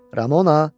Ramona.